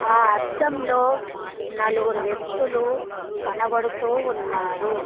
ఆ అద్దం లో నలుగురు వ్యక్తులు కనపడుతూ ఉన్నారు.